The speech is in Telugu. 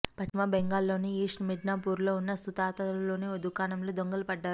పశ్చిమ బెంగాల్లోని ఈస్ట్ మిడ్నాపూర్లో ఉన్న సుతహతాలోని ఓ దుకాణంలో దొంగలు పడ్డారు